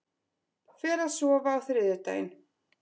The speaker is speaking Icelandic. Fer að sofa á þriðjudaginn